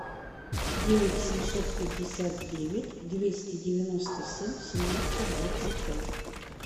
девять семьсот пятьдесят девять двести девяносто семь семнадцать двадцать пять